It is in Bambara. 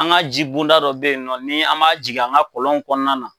An ga jibonda dɔ be yen nɔ, n'an ma jigin an ga kɔlɔnw kɔnɔna na